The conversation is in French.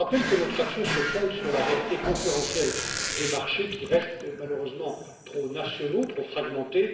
Je rappelle que notre action se fonde sur la réalité concurrentielle des marchés, qui restent, malheureusement, trop nationaux, trop fragmentés.